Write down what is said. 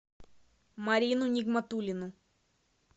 марину нигматуллину